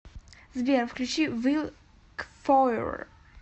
сбер включи вил кфоури